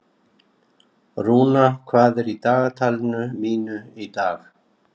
Rúna, hvað er í dagatalinu mínu í dag?